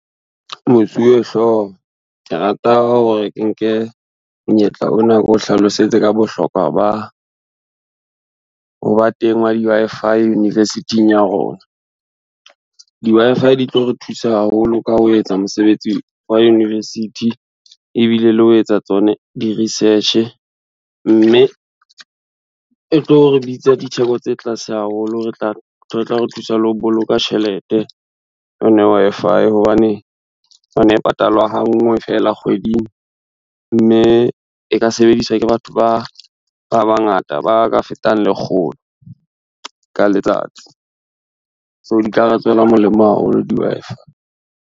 Mosuwe-hlooho, ke rata hore ke nke monyetla ona ko hlalosetse ka bohlokwa ba, ho ba teng wa di-Wi-Fi university-ng ya rona. Di-Wi-Fi di tlo re thusa haholo ka ho etsa mosebetsi wa university, ebile le ho etsa tsone di-research, mme e tlo re bitsa ditheko tse tlase haholo. E tla re thusa le ho boloka tjhelete Wi-Fi hobane, o no patala hanngwe fela kgweding, mme e ka sebediswa ke batho ba bangata ba ka fetang lekgolo ka letsatsi, so di ka re tswela molemo haholo di-Wi-Fi.